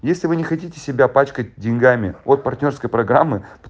если вы не хотите себя пачкать деньгами от партнёрской программы